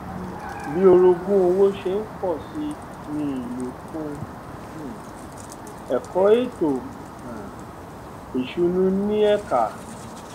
bí orogún òwò ṣe ń pọ sí ní ìlò fún um ẹkọ ètò um ìsúnú ń ní ẹka